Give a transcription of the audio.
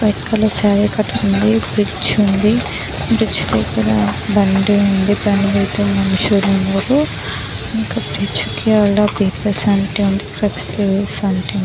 Red colour sari కట్టుకుంది bridge ఉంది. Bridge పక్కన బండి ఉంది. బండి తో నిల్చొని ఉన్నారు. ఇంకా బ్రిడ్జి కి --